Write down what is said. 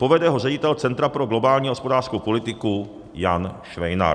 Povede ho ředitel Centra pro globální hospodářskou politiku Jan Švejnar.